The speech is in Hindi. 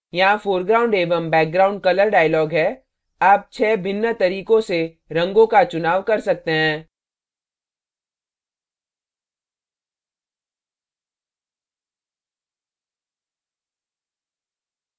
यहाँ foreground एवं background colour dialog है आप 6 भिन्न तरीकों से रंगों का चुनाव कर सकते हैं